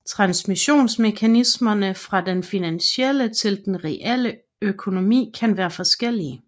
Transmissionsmekanismerne fra den finansielle til den reale økonomi kan være forskellige